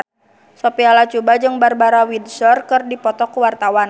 Sophia Latjuba jeung Barbara Windsor keur dipoto ku wartawan